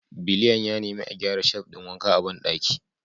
Biliyan ya nemi a gyara shelf ɗin wanka a bandaki